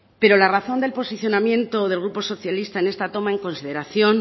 pero la razón del posicionamiento del grupo socialista en esta toma en consideración